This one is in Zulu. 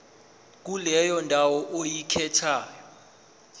kuleyo ndawo oyikhethayo